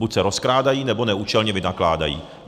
Buď se rozkrádají, nebo neúčelně vynakládají.